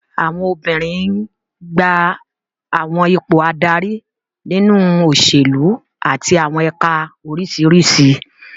Àwọn obìnrin n gba àwọn ipò adarí nínú òṣèlú àti àwọn ẹ̀ka oríṣiríṣi